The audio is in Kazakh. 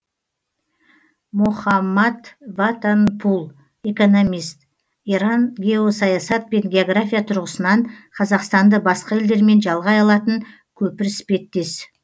мохаммад ватанпул экономист иран геосаясат пен география тұрғысынан қазақстанды басқа елдермен жалғай алатын көпір іспеттес